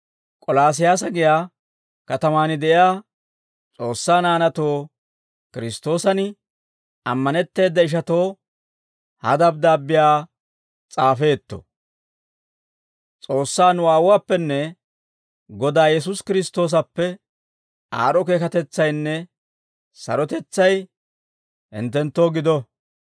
K'olaasiyaasa giyaa katamaan de'iyaa S'oossaa naanaatoo, Kiristtoosan ammanetteeda ishatoo ha dabddaabbiyaa s'aafeetto. S'oossaa nu Aawuwaappenne Godaa Yesuusi Kiristtoosappe, aad'd'o keekatetsaynne sarotetsay hinttenttoo gido.